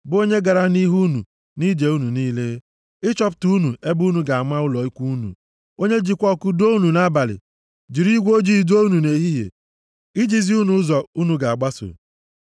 bụ onye gara nʼihu unu nʼije unu niile, ịchọpụtara unu ebe unu ga-ama ụlọ ikwu unu, onye jikwa ọkụ duo unu nʼabalị, jiri igwe ojii duo unu nʼehihie, iji zi unu ụzọ unu ga-agbaso.